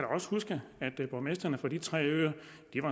også huske at borgmestrene fra de tre øer